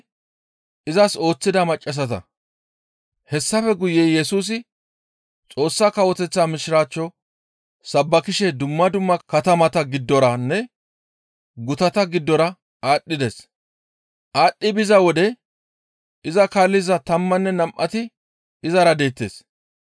Hessafe guye Yesusi Xoossa Kawoteththa Mishiraachcho sabbakishe dumma dumma katamata giddoranne gutata giddora aadhdhides. Aadhdhi biza wode iza kaalliza tammanne nam7ati izara deettes.